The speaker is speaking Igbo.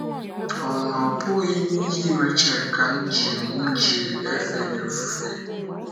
Ọ́ na-ọbụghị n’ihi Rechel ka m ji m ji efe gị ofufe?